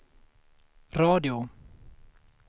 radio